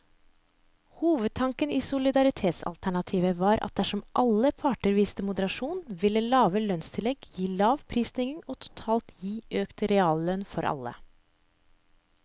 Hovedtanken i solidaritetsalternativet var at dersom alle parter viste moderasjon, ville lave lønnstillegg gi lav prisstigning og totalt gi økt reallønn for alle.